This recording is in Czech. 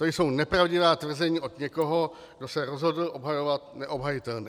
To jsou nepravdivá tvrzení od někoho, kdo se rozhodl obhajovat neobhajitelné.